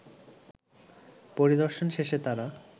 পরিদর্শন শেষে তারা